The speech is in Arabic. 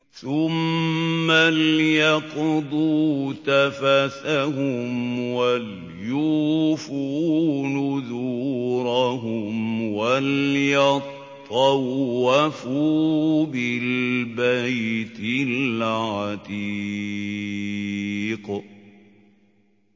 ثُمَّ لْيَقْضُوا تَفَثَهُمْ وَلْيُوفُوا نُذُورَهُمْ وَلْيَطَّوَّفُوا بِالْبَيْتِ الْعَتِيقِ